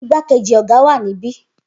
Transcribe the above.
Igbakeji oga wa nibi